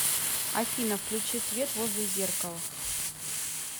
афина включи свет возле зеркала